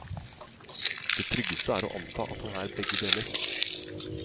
Det tryggeste er å anta at han er begge deler.